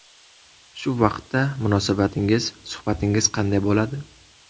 Shu vaqtda munosabatingiz, suhbatingiz qanday bo‘ladi.